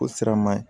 O sira man ɲi